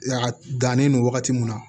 A dannen don wagati mun na